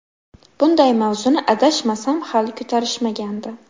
Bunday mavzuni, adashmasam, hali ko‘tarishmagandi.